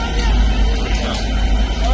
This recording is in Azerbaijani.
Dayanıb gəlirsiz, yəni dayan.